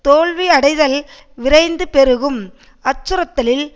தோல்வி அடைதல் விரைந்து பெருகும் அச்சுறுத்தலில்